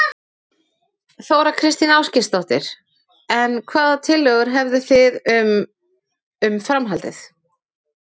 Þóra Kristín Ásgeirsdóttir: En hvaða tillögur hefðu þið um, um framhaldið?